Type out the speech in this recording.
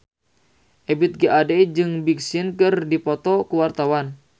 Ebith G. Ade jeung Big Sean keur dipoto ku wartawan